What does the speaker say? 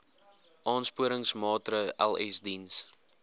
aansporingsmaatre ls diens